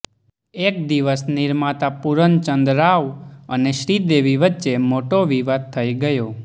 એક દિવસ નિર્માતા પૂરનચંદ રાવ અને શ્રીદેવી વચ્ચે મોટો વિવાદ થઈ ગયો